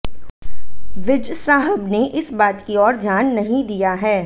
विज साहब ने इस बात की ओर ध्यान नहीं दिया है